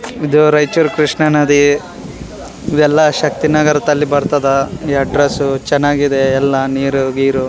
ಇದು ರೈಚೂರ್ ಕೃಷ್ಣ ನದಿ ಇದೆಲ್ಲ ಶಕ್ತಿನಗರದಲ್ಲಿ ಬರ್ತದ ಈ ಅಡ್ಡ್ರೆಸ್ಸ್ ಚೆನ್ನಾಗಿದೆ ಎಲ್ಲ ನೀರು ಗೀರು.